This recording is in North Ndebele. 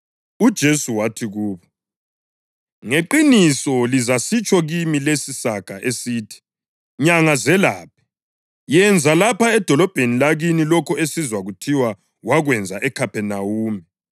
UJesu wathi kubo, “Ngeqiniso lizasitsho kimi lesi isaga esithi: ‘Nyanga, zelaphe! Yenza lapha edolobheni lakini lokho esizwa kuthiwa wakwenza eKhaphenawume.’ ”